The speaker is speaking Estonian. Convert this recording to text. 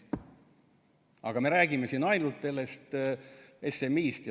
Aga me räägime siin ainult sellest SMI-st.